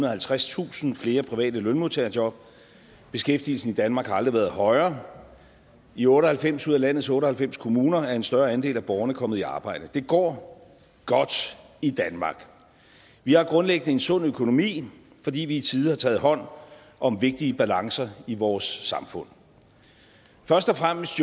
og halvtredstusind flere private lønmodtagerjob og beskæftigelsen i danmark har aldrig været højere i otte og halvfems ud af landets otte og halvfems kommuner er en større andel af borgerne kommet i arbejde det går godt i danmark vi har grundlæggende en sund økonomi fordi vi i tide har taget hånd om vigtige balancer i vores samfund først og fremmest